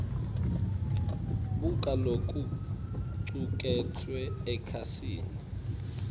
buka lokucuketfwe ekhasini